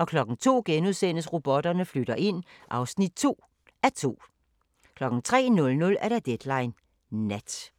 02:00: Robotterne flytter ind (2:2)* 03:00: Deadline Nat